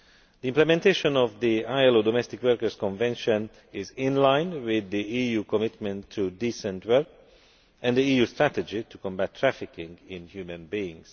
The implementation of the ILO Domestic Workers Convention is in line with the EU commitment to decent work and the EU strategy to combat trafficking in human beings.